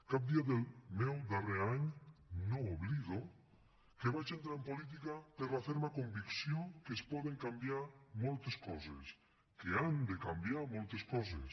cap dia del meu darrer any no oblido que vaig entrar en política per la ferma convicció que es poden canviar moltes coses que han de canviar moltes coses